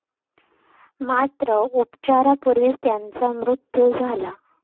मात्र, उपचारापूर्वीच त्याचा मृत्यु झाला.